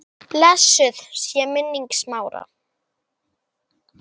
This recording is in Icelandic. Blessuð sé minning Smára.